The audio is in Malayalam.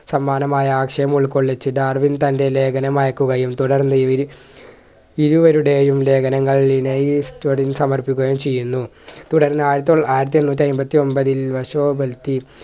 സമ്മാനമായ ആശയം ഉൾക്കൊള്ളിച്ച് ഡാർവിൻ തൻ്റെ ലേഖനം വായിക്കുകയും തുടർന്നിരി ഇരുവരുടെയും ലേഖനങ്ങൾ വിനയ് സമർപ്പിക്കുകയും ചെയ്യുന്നു തുടർന്ന് ആയിരത്തി തൊള്ളാ ആയിരത്തി എണ്ണൂറ്റി അയ്മ്പത്തി ഒമ്പതിൽ വർഷോവർത്തി